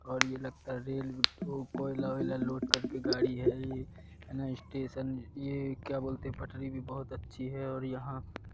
और यह लगता है रेल टू कोयला ओयल लोड करके गाड़ी है ना ये स्टेशन ये क्या बोलते पटरी भी बहोत अच्छी है और यहां--